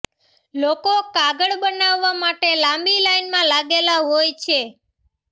લોકો કાગળ બનાવવા માટે લાંબી લાઈનમાં લાગેલા હોય છે